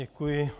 Děkuji.